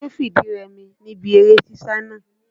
Ta ni ó fìdí rẹmi níbi eré sísá náà?